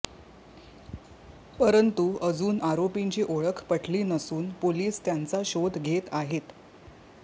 परंतु अजुन आरोपींची ओळख पटली नसून पोलीस त्यांचा शोध घेत आहेत